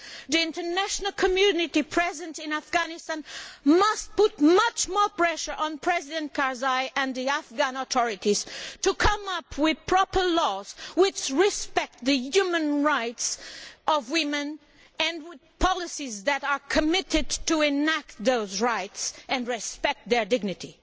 The international community present in Afghanistan must put much more pressure on President Karzai and the Afghan authorities to come up with proper laws which respect the human rights of women, and policies that are committed to enacting those rights and respect their dignity.